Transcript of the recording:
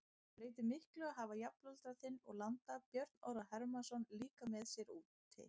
Breytir miklu að hafa jafnaldra þinn og landa Björn Orra Hermannsson líka með sér úti?